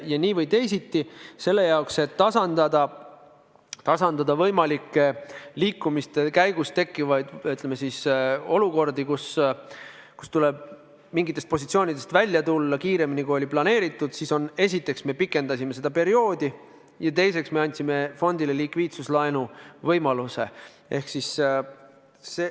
Ja nii või teisiti, selle jaoks, et tasandada võimalikke liikumiste käigus tekkivaid olukordi, kus tuleb mingitest positsioonidest välja tulla kiiremini, kui oli planeeritud, me esiteks pikendasime seda perioodi ja teiseks andsime fondile likviidsuslaenu võimaluse.